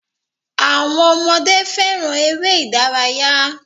Àwọn ọmọdé fẹràn eré ìdárayá.